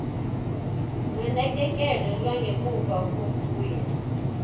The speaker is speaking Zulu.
nonakekelo lwangemuva kokuya